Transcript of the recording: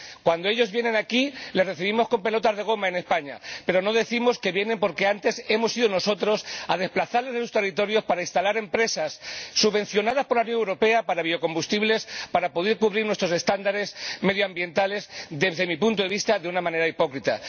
Cuando ellos vienen aquí, les recibimos con pelotas de goma ―en España―, pero no decimos que vienen porque antes hemos ido nosotros a desplazarles de sus territorios para instalar empresas subvencionadas por la Unión Europea para obtener biocombustibles a fin de poder cumplir nuestros estándares medioambientales, desde mi punto de vista, de una manera hipócrita.